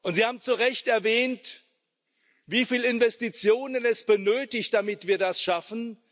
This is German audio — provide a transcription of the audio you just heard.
Sie haben zu Recht erwähnt, wie viele Investitionen es benötigt, damit wir das schaffen.